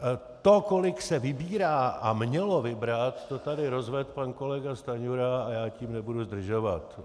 To, kolik se vybírá a mělo vybrat, to tady rozvedl pan kolega Stanjura a já tím nebudu zdržovat.